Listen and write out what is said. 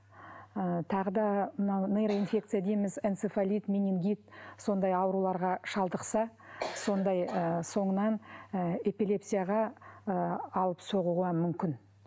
ы тағы да мынау нейроинфекция дейміз энцефалит менингит сондай ауруларға шалдықса сондай ы соңынан ы эпилепсияға ы алып соғуға мүмкін